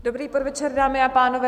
Dobrý podvečer, dámy a pánové.